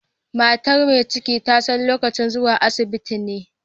Matar mai ciki ta san lokacin zuwa asibiti ne.